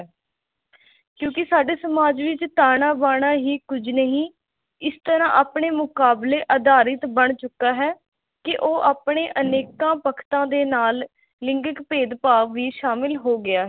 ਕਿਓਕੀ ਸਾਡੇ ਸਮਾਜ ਵਿਚ ਤਾਹਨਾ ਬਹਨਾ ਹੀ ਕੁਝ ਨਹੀ ਇਸ ਤਰਾ ਆਪਣੇ ਮੁਕਾਬਲੇ ਅਧਾਰਿਤ ਬਣ ਚੁਕਾ ਹੇ ਕੀ ਉਹ ਆਪਣੇ ਅਨੇਕਾ ਪਖਤਾ ਦੇ ਨਾਲ ਲਿੰਗ੍ਕਿਕ ਭੇਦਭਾਵ ਵੀ ਸ਼ਾਮਿਲ ਹੋ ਗਿਆ ਹੇ